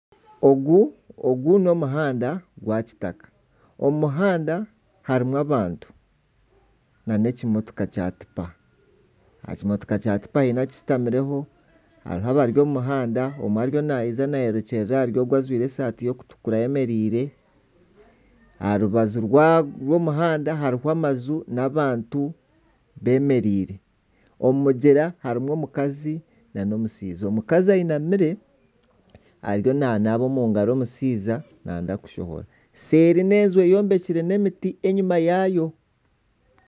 Ogu n'omuhanda gwa kitaka. Omu muhanda harimu abantu nana ekimotoka kya tipa. Ekimotoka kya tipa haine okishutamireho, hariho abari omu muhanda. Omwe ariyo nayija nayerekyerera ogu ojwire esati erikutukura ayemereire aharubaju rw'omuhanda hariho amaju nana abantu bemereire. omu mugyera harimu omukazi n'omushaija. Omukazi ayinamire ariyo nanaaba omu ngaro. Omushaija nayenda kushohora. Seeri n'enju eyombekire n'emiti enyima yaayo.